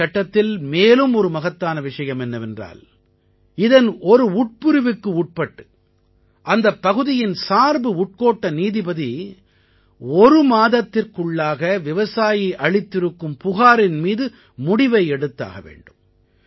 இந்தச் சட்டத்தில் மேலும் ஒரு மகத்தான விஷயம் என்னவென்றால் இதன் ஒரு உட்பிரிவுக்கு உட்பட்டு அந்தப் பகுதியின் சார்பு உட்கோட்ட நீதிபதி ஒரு மாதத்திற்குள்ளாக விவசாயி அளித்திருக்கும் புகாரின் மீது முடிவை எடுத்தாக வேண்டும்